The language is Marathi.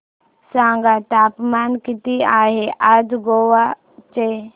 सांगा तापमान किती आहे आज गोवा चे